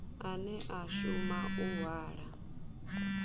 ane a shuma u hwala